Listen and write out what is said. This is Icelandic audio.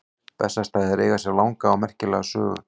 Bessastaðir eiga sér langa og merkilega sögu.